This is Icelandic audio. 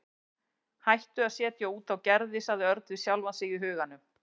Hættu að setja út á Gerði sagði Örn við sjálfan sig í huganum.